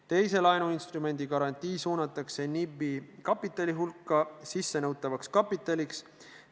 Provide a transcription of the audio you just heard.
Teise laenuinstrumendi garantii suunatakse NIB-i kapitali hulka sissenõutavaks kapitaliks.